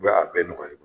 U bɛ a bɛɛ nɔgɔya